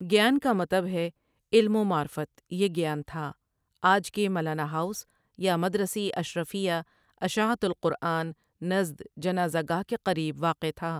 گیان کامطب ہے علم ومعرفت یہ گیان تھا۔ آجکل کے ملانہ ہاٶس یا مدرسی اشرفیہ اشاعت القران نزد جنازہ گاہ کے قریب واقع تھا ۔